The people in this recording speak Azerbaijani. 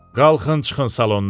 Qalxın, çıxın salondan.